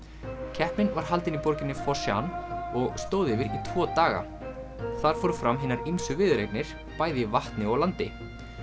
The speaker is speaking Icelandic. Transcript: keppnin var haldin í borginni og stóð yfir í tvo daga þar fóru fram hinar ýmsu viðureignir bæði í vatni og á landi